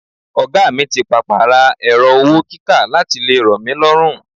Oga mi ti papa ra ẹrọ-owó-kíkà láti lè ro mí lọ́run.